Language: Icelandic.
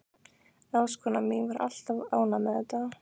Ráðskonan mín var alltaf ánægð með það.